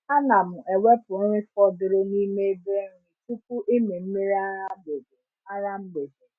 A na m ewepụ nri fọdụrụ n’ime ebe nri tupu ịmị mmiri ara mgbede. ara mgbede.